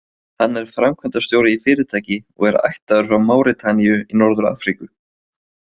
Hann er framkvæmdastjóri í fyrirtæki og er ættaður frá Máritaníu í Norður-Afríku.